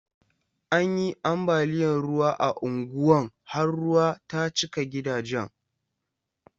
An yi ambaliyan ruwa a unguwan har ruwa ta cika gidajen.